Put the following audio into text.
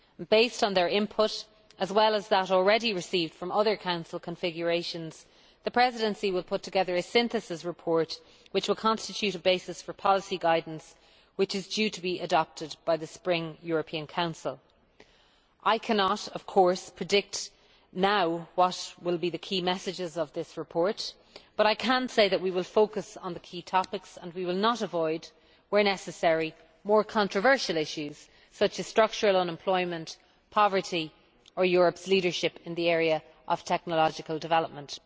Based on their input, as well as that already received from other Council configurations, the Presidency will put together a synthesis report which will constitute a basis for policy guidance which is due to be adopted by the Spring European Council. I cannot, of course, predict now what will be the key messages of this report, but I can say that we will focus on the key topics, and will not avoid where necessary more controversial issues, such as structural unemployment, poverty or Europe's leadership in the area of technological development.